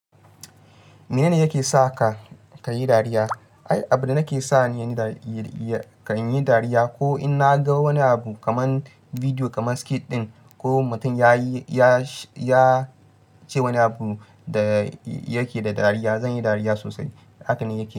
Mene ne yake sa ka ka yi dariya? Ai, abin da yake sa ni kan yi dariya ko in na ga wani abu kamar bidiyo kamar skit ɗin ko mutum ya ce wani abu da yake da dariya, zan yi dariya sosai. Haka ne yake.